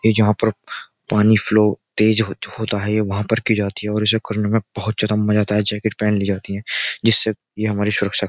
ये जहां पर पानी फ्लो तेज होता है ये वहां पर की जाती है और इसे करने में बहुत ज्यादा मजा आता है जैकेट पहन ली जाती हैं जिससे ये हमारी सुरक्षा --